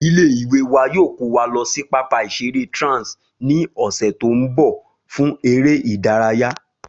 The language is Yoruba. Ilé ìwé wa yóò kó wa lo sí pápá ìseré Trans ní òsè tó n bò fún eré ìdárayá